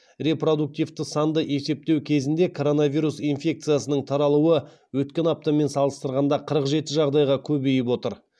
репродуктивті санды есептеу кезінде коронавирус инфекциясының таралуы өткен аптамен салыстырғанда қырық жеті жағдайға көбейіп отыр